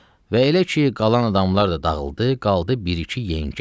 Və elə ki qalan adamlar da dağıldı, qaldı bir-iki yengə.